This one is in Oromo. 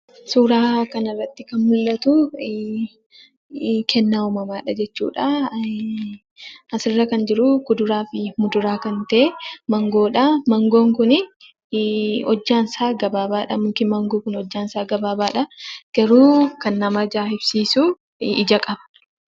Suuraa kanarratti kan mul'atu kennaa uumamaadha jechuudha. Asirratti kan jiru kuduraa fi muduraa kan ta'e maangoodha. Maangoon kun hojjaan isaa mukti isaa gabaabaadha. Garuu kan nama ajaa'ibsiisu ija qaba.